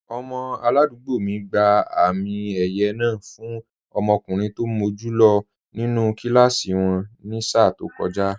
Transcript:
Ọmọ aládùúgbò mi gba àmì ẹ̀yẹ náà fún ọmọkùnrin tó mọ́ jù lọ nínú kíláàsì wọn ní sáà tó kọjá